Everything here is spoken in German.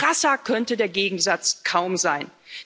Krasser könnte der Gegensatz kaum sein.